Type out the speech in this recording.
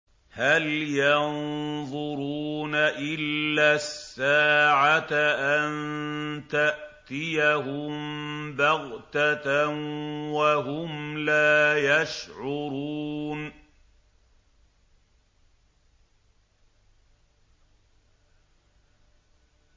هَلْ يَنظُرُونَ إِلَّا السَّاعَةَ أَن تَأْتِيَهُم بَغْتَةً وَهُمْ لَا يَشْعُرُونَ